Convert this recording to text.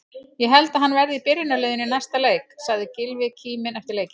Ég held að hann verði í byrjunarliðinu í næsta leik, sagði Gylfi kíminn eftir leikinn.